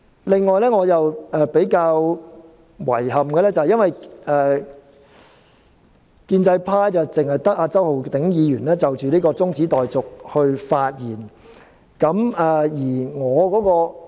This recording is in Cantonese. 另外，我感到比較遺憾的是，建制派只有周浩鼎議員就中止待續議案發言。